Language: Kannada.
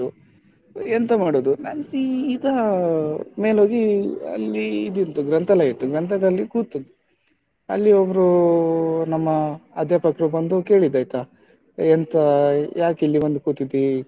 ಎಂತ ಮಾಡುದು ನಾನು ಸೀದಾ ಮೇಲೋಗಿ ಅಲ್ಲಿ ಇದಿತ್ತು ಗ್ರಂಥಾಲಯ ಇತ್ತು ಗ್ರಂಥಾಲಯದಲ್ಲಿ ಕೂತೆ ಅಲ್ಲಿ ಒಬ್ರು ನಮ್ಮ ಅಧ್ಯಾಪಕರು ಬಂದು ಕೇಳಿದ್ರೈತಾ ಎಂತಾ ಯಾಕೆ ಇಲ್ಲಿ ಬಂದು ಕೂತಿದ್ದೀ?